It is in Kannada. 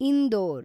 ಇಂದೋರ್